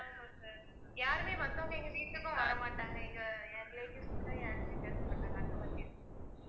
ஆமா sir யாருமே மத்தவங்க எங்க வீட்டுக்கும் வர மாட்டாங்க எங்க என் relatives கூட யாருமே பேச மாட்டாங்க அந்த மாதிரி இருக்கு